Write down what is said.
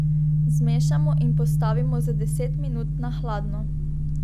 Zmešamo in postavimo za deset minut na hladno.